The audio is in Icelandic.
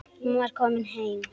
Hún var komin heim.